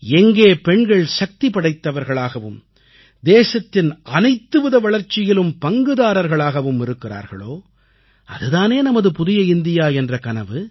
எங்கே பெண்கள் சக்திபடைத்தவர்களாகவும் தேசத்தின் அனைத்துவித வளர்ச்சியிலும் பங்குதாரர்களாகவும் இருக்கிறார்களோ அது தானே நமது புதிய இந்தியா என்ற கனவு